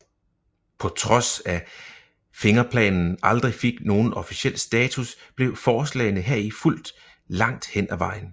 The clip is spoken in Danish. På trods af Fingerplanen aldrig fik nogen officiel status blev forslagene heri fulgt langt hen ad vejen